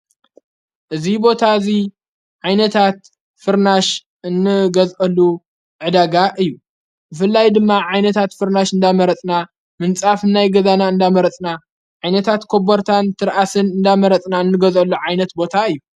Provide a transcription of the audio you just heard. እዙ ቦታ እዙይ ዓይነታት ፍርናሽ እንገዘአሉ ዕዳጋ እዩ። ፍልይ ድማ ዓይነታት ፍርናሽ እንዳመረፅና፣ ምንጻፍ ናይ ገዛና እንዳመረጽና ፣ዓይነታት ኮበርታን ትርኣስን እንዳመረጽና፣ እንገዘሉ ዓይነት ቦታ እዩ።